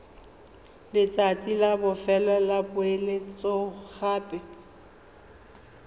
letsatsi la bofelo la poeletsogape